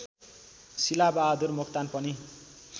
शिलाबहादुर मोक्तान पनि